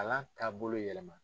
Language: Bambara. Kalan taabolo yɛlɛma.